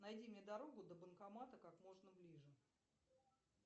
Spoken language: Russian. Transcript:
найди мне дорогу до банкомата как можно ближе